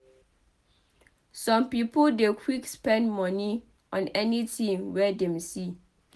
Some pipo dey quick spend moni on anything wey dem see